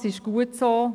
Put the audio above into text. das ist auch gut so.